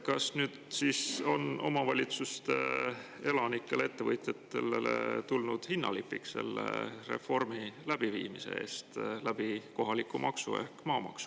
Kas see kohalik maks ehk maamaks on nüüd omavalitsuste elanikele ja ettevõtjatele selle reformi läbiviimise hinnalipik?